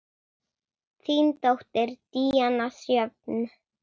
Þín dóttir, Díana Sjöfn.